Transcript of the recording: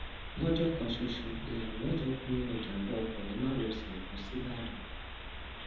lọjọ kan ṣoṣo èèyàn mẹjọ kú nínú ìjàmbá ọkọ ní márosẹ ẹkọ sìbàdàn